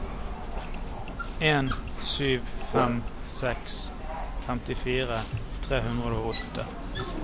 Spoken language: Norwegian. en sju fem seks femtifire tre hundre og åtte